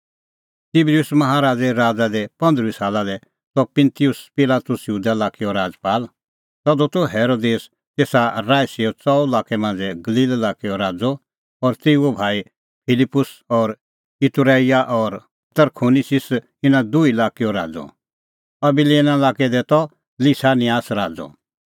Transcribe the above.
तिबरिउस माहा राज़े राज़ा दी पंद्रुई साला दी त पुंतिउस पिलातुस यहूदा लाक्कैओ राजपाल तधू त हेरोदेस तेसा राईसीए च़ऊ लाक्कै मांझ़ै गलील लाक्कैओ राज़अ और तेऊओ भाई फिलिप्पुस त इतूरैईआ और तरखोनिसिस इना दुही लाक्कैओ राज़अ अबिलेना लाक्कै दी त लिसानियास राज़अ